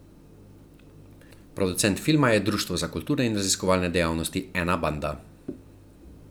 Producent filma je Društvo za kulturne in raziskovalne dejavnosti Enabanda.